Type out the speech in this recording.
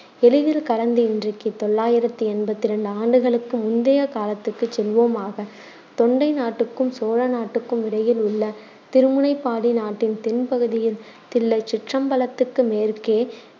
எளிதில் கடந்து இன்றைக்குத் தொள்ளாயிரத்தி எண்பத்திரண்டு ஆண்டுகளுக்கு முந்தைய காலத்துக்குச் செல்வோமாக. தொண்டை நாட்டுக்கும் சோழ நாட்டுக்கும் இடையில் உள்ள திருமுனைப்பாடி நாட்டின் தென்பகுதியில், தில்லைச் சிற்றம்பலத்துக்கு மேற்கே